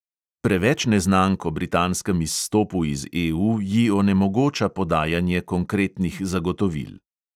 Preveč neznank o britanskem izstopu iz EU ji onemogoča podajanje konkretnih zagotovil.